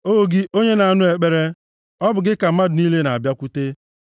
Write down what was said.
O gị onye na-anụ ekpere, ọ bụ gị ka mmadụ niile ga-abịakwute, + 65:2 \+xt Aịz 66:23\+xt*